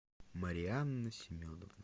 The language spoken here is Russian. марианна семеновна